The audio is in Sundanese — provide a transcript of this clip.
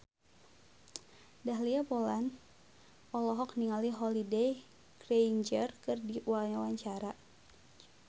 Dahlia Poland olohok ningali Holliday Grainger keur diwawancara